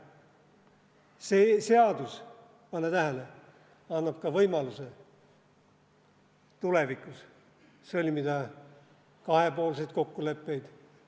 See seadus, pane tähele, annab ka võimaluse tulevikus sõlmida kahepoolseid kokkuleppeid.